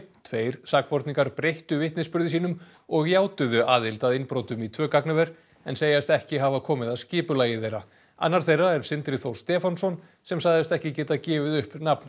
tveir sakborningar breyttu vitnisburði sínum og játuðu aðild að innbrotum í tvö gagnaver en segjast ekki hafa komið að skipulagi þeirra annar þeirra er Sindri Þór Stefánsson sem sagðist ekki geta gefið upp nafn